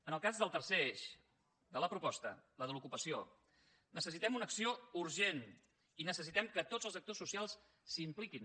en el cas del tercer eix de la proposta el de l’ocupació necessitem una acció urgent i necessitem que tots els actors socials s’hi impliquin